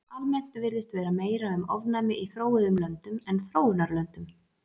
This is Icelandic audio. Almennt virðist vera meira um ofnæmi í þróuðum löndum en þróunarlöndum.